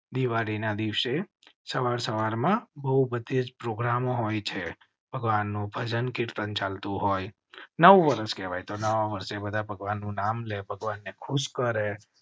દિવાળી ના દિવસે સવાર સવાર માં બહુમતિ પ્રોગ્રામ હોય છે. ભગવાન નું ભજન કીર્તન ચાલ તું હોય, નવું વર્ષ કેવું હોય તે બધા ભગવાન નું નામ લે ભગવાન ને ખુશ કરેં,